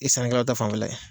O ye sannikɛlaw ta fanfɛla ye